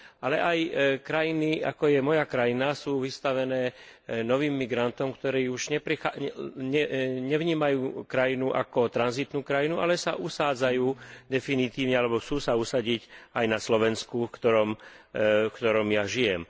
Ale aj krajiny, ako je moja krajina, sú vystavené novým migrantom, ktorí už nevnímajú krajinu ako tranzitnú krajinu, ale sa usádzajú definitívne alebo chcú sa usadiť aj na Slovensku, kde žijem.